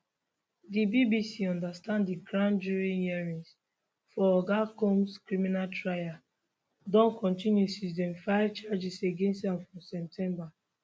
di bbc understand di grand jury hearings for oga combs criminal trial don continue since dem file charges against am for september